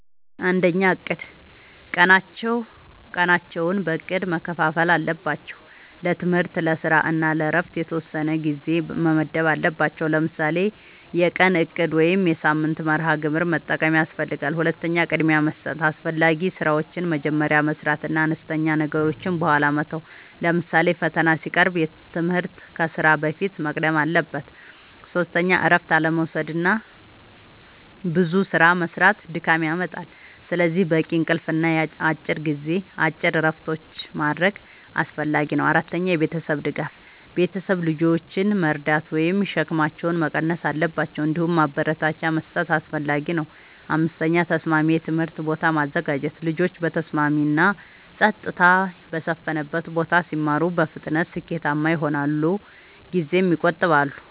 ፩. እቅድ፦ ቀናቸውን በእቅድ መከፋፈል አለባቸው። ለትምህርት፣ ለስራ እና ለእረፍት የተወሰነ ጊዜ መመደብ አለባቸዉ። ለምሳሌ የቀን እቅድ ወይም የሳምንት መርሃ ግብር መጠቀም ያስፈልጋል። ፪. ቅድሚያ መስጠት፦ አስፈላጊ ስራዎችን መጀመሪያ መስራት እና አነስተኛ ነገሮችን በኋላ መተው። ለምሳሌ ፈተና ሲቀርብ ትምህርት ከስራ በፊት መቅደም አለበት። ፫. እረፍት አለመዉሰድና ብዙ ስራ መስራት ድካም ያመጣል። ስለዚህ በቂ እንቅልፍ እና አጭር እረፍቶች ማድረግ አስፈላጊ ነው። ፬. የቤተሰብ ድጋፍ፦ ቤተሰብ ልጆችን መርዳት ወይም ሸክማቸውን መቀነስ አለባቸው። እንዲሁም ማበረታቻ መስጠት አስፈላጊ ነው። ፭. ተስማሚ የትምህርት ቦታ ማዘጋጀት፦ ልጆች በተስማሚ እና ጸጥታ በሰፈነበት ቦታ ሲማሩ በፍጥነት ስኬታማ ይሆናሉ ጊዜም ይቆጥባሉ።